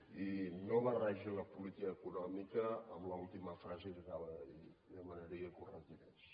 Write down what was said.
i no barregi la política econòmica amb l’última frase que acaba de dir li demanaria que ho retirés